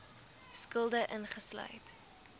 skulde uitgesluit